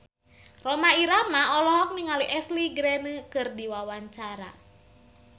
Rhoma Irama olohok ningali Ashley Greene keur diwawancara